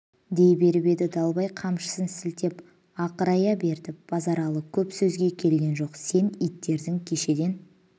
дей беріп еді далбай қамшысын сілтеп ақырая берді базаралы көп сөзге келген жоқ сен иттердің кешеден